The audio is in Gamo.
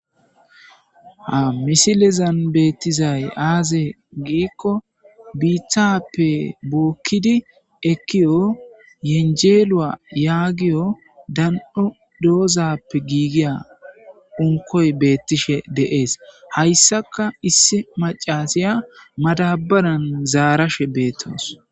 Ha misilizan beettizay aaze giikko biithappe bookkidi ekkiyo yenjeelua yaagiyo dan'o doozappe giigiya hunkoy beettishe deees hayssaka issi macasiya madabaran zaarashe beettoos.